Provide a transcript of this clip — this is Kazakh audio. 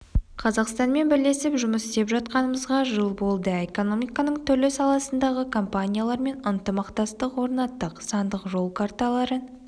қазақстанмен бірлесіп жұмыс істеп жатқанымызға жыл болды экономиканың түрлі саласындағы компаниялармен ынтымақтастық орнаттық сандық жол карталарын